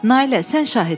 Nailə, sən şahidsən.